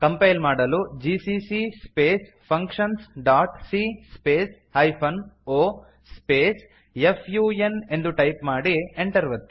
compile ಮಾಡಲು gccಸ್ಪೇಸ್ functions dot c space hyphen O space F U N ಎಂದು type ಮಾಡಿ Enter ಒತ್ತಿ